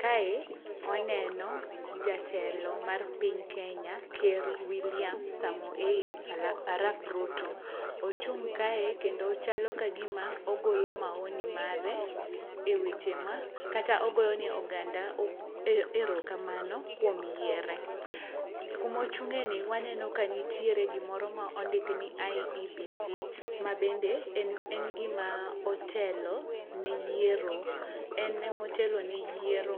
Kae waneno jatelo mar piny kenya ker William Samoei Arap Ruto. Ochung' kae kendo chalo kagima ogolo maoni mare e weche ma kata ogoyo ne oganda erokamano kuom yiere. Kumochung'e ni waneno kanitiere gimoro ma ondiki ni iebc mabende en gima otelo ne yiero, en emotelone yiero